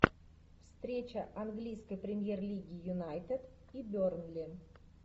встреча английской премьер лиги юнайтед и бернли